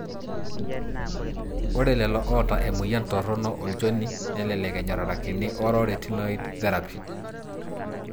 Ore lelo otaa emoyian torono olchoni, nelelek enyororakini oral retinoid therapy.